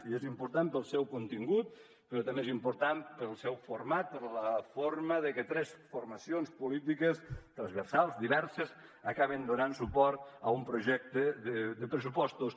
i és important pel seu contingut però també és important pel seu format per la forma que tres formacions polítiques transversals diverses acaben donant suport a un projecte de pressupostos